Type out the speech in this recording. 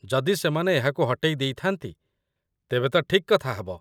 ଯଦି ସେମାନେ ଏହାକୁ ହଟେଇ ଦେଇଥାନ୍ତି, ତେବେ ତ ଠିକ୍ କଥା ହେବ।